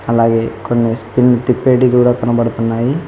అలాగే కొన్ని స్పిన్ తిప్పేటి కూడా కనబడుతున్నాయి.